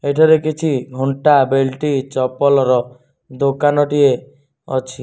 ଏଠାରେ କିଛି ଙ୍ଗନ୍ଟା ବେଲ୍ଟି୍ ଚପଲ୍ ର ଦୋକାନ ଟିଏ ଅଛି।